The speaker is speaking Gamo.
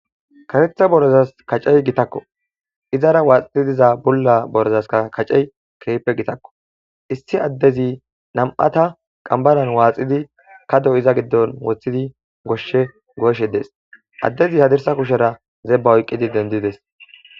Kareththa borezas kacey gitakko izara waaxii diza bulla borezaska kacey kehippe gitakko issi addezi nam'ata qambaran waaxidi kado iza giddon woththidi goshshe goyishshe dees addezi hadirsa kushera zebba oyqqidi dendides.